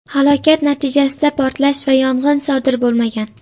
Halokat natijasida portlash va yong‘in sodir bo‘lmagan.